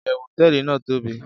iyewu hoteeli nàá tobi